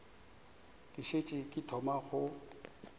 ke šetše ke thoma go